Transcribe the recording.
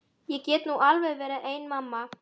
Ég get nú alveg verið ein mamma.